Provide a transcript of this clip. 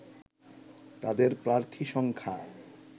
তাদের প্রার্থী সংখ্যা